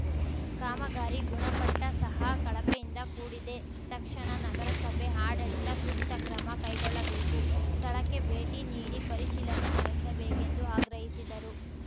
ಕಾಮಗಾರಿ ಗುಣಪಟ್ಟಸಹ ಕಳಪೆಯಿಂದ ಕೂಡಿದೆ ತಕ್ಷಣ ನಗರಸಭೆ ಆಡಳಿತ ಸೂಕ್ತ ಕ್ರಮ ಕೈಗೊಳ್ಳಬೇಕು ಸ್ಥಳಕ್ಕೆ ಭೇಟಿ ನೀಡಿ ಪರಿಶೀಲನೆ ನಡೆಸಬೇಕೆಂದು ಆಗ್ರಹಿಸಿದರು